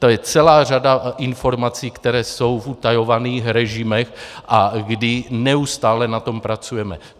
To je celá řada informací, které jsou v utajovaných režimech a kdy neustále na tom pracujeme.